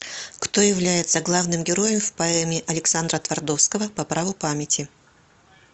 кто является главным героем в поэме александра твардовского по праву памяти